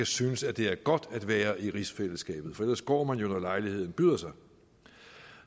synes at det er godt at være i rigsfællesskabet for ellers går man jo når lejligheden byder sig